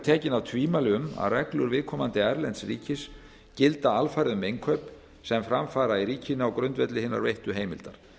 tekin af tvímæli um að reglur viðkomandi erlends ríkis gilda alfarið um innkaup sem fram fara í ríkinu á grundvelli hinnar veittu heimildar